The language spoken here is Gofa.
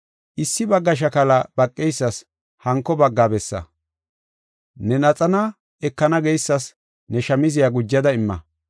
Issi bagga shakala baqeysas hanko bagga bessa. Ne laxana ekana geysas ne shamziya gujada imma.